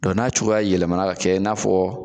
Dɔn n'a cogoya yɛlɛmɛnna ka kɛ i n'a fɔ